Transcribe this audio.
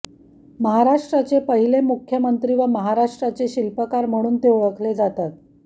महाराष्ट्राचे पहिले मुख्यमंत्री व महाराष्ट्राचे शिल्पकार म्हणून ते ओळखले जातात